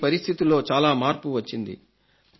ఈ పరిస్థితిలో చాలా మార్పు వచ్చింది